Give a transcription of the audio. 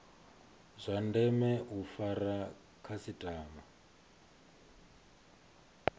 zwa ndeme u fara khasitama